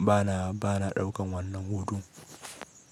bana, bana ɗaukan wannan hutun.